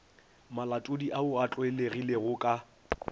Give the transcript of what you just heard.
malatodi ao a tlwaelegilego ka